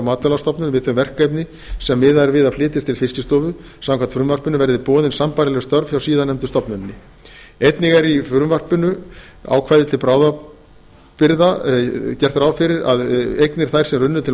matvælastofnun við þau verkefni sem miðað er við að flytjist til fiskistofu samkvæmt frumvarpinu verði boðin sambærileg störf hjá síðarnefndu stofnuninni einnig er í ákvæði til bráðabirgða gert ráð fyrir og að eignir þær sem runnu til